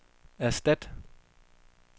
erstat